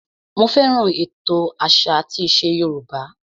Mo fẹ́ràn ètò àṣà àti ìṣe Yorùbá